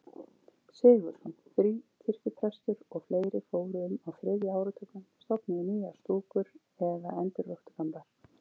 Sigurðsson fríkirkjuprestur og fleiri fóru um á þriðja áratugnum, stofnuðu nýjar stúkur eða endurvöktu gamlar.